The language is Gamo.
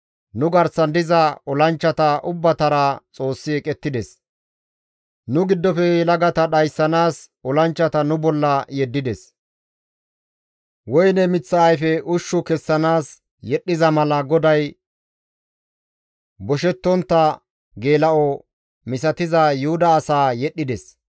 «Nu garsan diza olanchchata ubbatara Xoossi eqettides; nu giddofe yelagata dhayssanaas olanchchata nu bolla yeddides. Woyne miththa ayfe ushshu kessanaas yedhdhiza mala GODAY boshettontta geela7o misatiza Yuhuda asaa yedhides.